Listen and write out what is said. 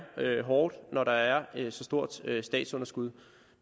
hårdt når der er så stort et statsunderskud